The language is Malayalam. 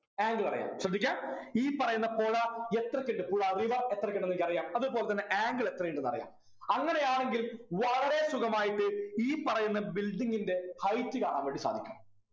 angle അറിയാം ശ്രദ്ധിക്കാ ഈ പറയുന്ന പുഴ എത്രക്കിണ്ട് പുഴ river എത്രക്കിണ്ടുന്നു എനിക്കറിയാം അതെ പോലെത്തന്നെ angle എത്രയിണ്ടുന്നു എനിക്ക് അറിയാം അങ്ങനെയാണെങ്കിൽ വളരെ സുഖമായിട്ട് ഈ പറയുന്ന building ൻ്റെ height കാണാൻവേണ്ടി സാധിക്കും